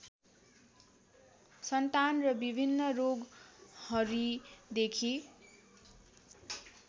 सन्तान र विभिन्न रोगहरीदेखि